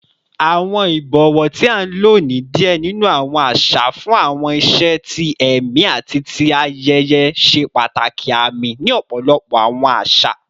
Awọn ibọwọ, ti a lo ni diẹ ninu awọn aṣa fun awọn iṣe ti ẹmi ati ti ayẹyẹ, ṣe pataki aami ni ọpọlọpọ awọn aṣa.